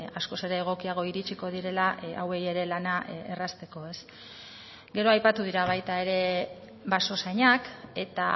askoz ere egokiago iritsiko direla hauei ere lana errazteko gero aipatu dira baita ere basozainak eta